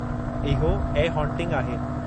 इहो 'a haunting' आहे।